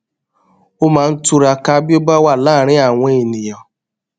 ó máa ń túraká bí ó bá wà láàárín àwọn ènìyàn